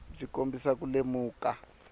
byi kombisa ku lemuka